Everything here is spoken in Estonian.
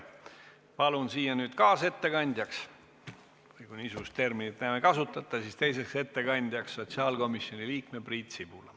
Palun nüüd kaasettekandjaks või kui niisugust terminit enam ei kasutata, siis teiseks ettekandjaks sotsiaalkomisjoni liikme Priit Sibula.